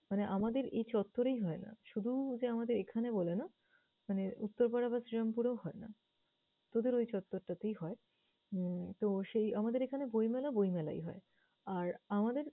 মানে আমাদের এই চত্তরেই হয় না। শুধু যে আমাদের এখানে বলে না, মানে উত্তরপাড়া বা শ্রীরামপুরেও হয় না। তোদের ওই চত্তরটাতেই হয়। উম তো, সেই আমাদের এখানে বইমেলা বইমেলায়ই হয়। আর আমাদের